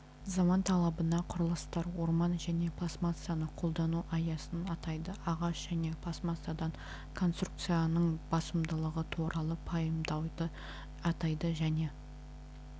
заман талабына құрылыстар орман және пластмассаны қолдану аясын атайды ағаш және пластмассадан конструкцияның басымдығы туралы пайымдауды атайды және